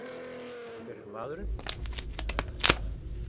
En hver er maðurinn?